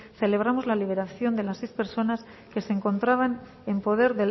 celebramos la liberación de las seis personas que se encontraban en poder